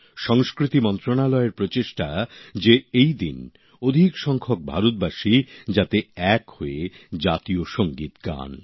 সংস্কৃতি মন্ত্রণালয় উদ্যোগ নিয়েছে সেদিন যাতে প্রচুর সংখ্যক ভারতবাসী এক হয়ে জাতীয় সঙ্গীত গান